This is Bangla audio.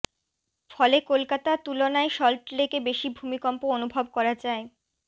ফলে কলকাতা তুলনায় সল্টলেকে বেশি ভূমিকম্প অনুভব করা যায়